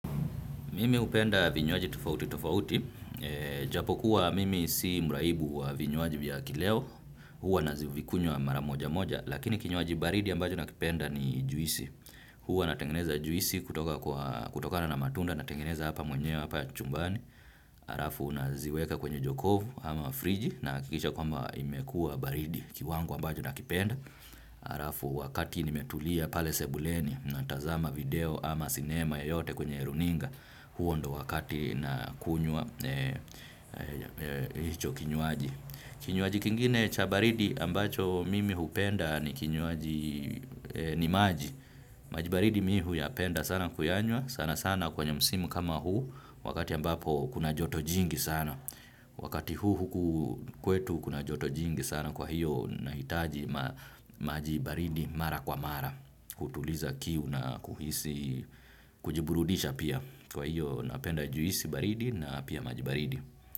Mimi hupenda vinywaji tofauti tofauti. Japokuwa mimi si mraibu wa vinywaji vya kileo. Huwa nazivikunywa mara moja moja. Lakini kinywaji baridi ambacho nakipenda ni juisi. Huwa natengeneza juisi kutokana na matunda natengeneza hapa mwenyewe hapa chumbani. Arafu naziweka kwenye jokovu ama friji nahakikisha kwamba imekua baridi kiwango ambacho nakipenda. Arafu wakati nimetulia pale sebuleni natazama video ama sinema yoyote kwenye runinga. Huo ndo wakati nakunywa hicho kinywaji. Kinywaji kingine cha baridi ambacho mimi hupenda ni kinywaji ni maji. Maji baridi mimi huyapenda sana kuyanywa sana sana kwenye msimu kama huu wakati ambapo kuna joto jingi sana. Wakati huu huku kwetu kuna joto jingi sana kwa hiyo nahitaji maji baridi mara kwa mara kutuliza kiu na kuhisi kujiburudisha pia kwa hiyo napenda juisi baridi na pia maji baridi.